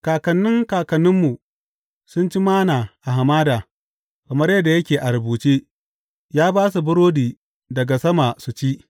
Kakannin kakanninmu sun ci Manna a hamada; kamar yadda yake a rubuce, Ya ba su burodi daga sama su ci.’